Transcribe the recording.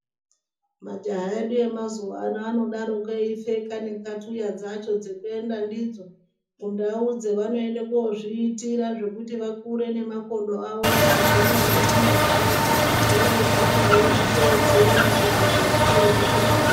Majaha edu emazuawano anodaroko eipfeka nenxatuya dzacho dzekuenda ndidzo kundau dzevanoende kuzvitira zvekuti vakure nemakodo avo akagwinya nenyama dzavo voroguma veizvitedzera kutozodai votopona.